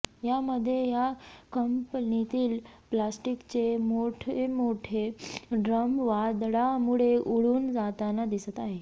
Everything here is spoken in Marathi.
यामध्ये या कंपनीतील प्लास्टिकचे मोठ मोठे ड्रम वादळामुळे उडून जाताना दिसत आहे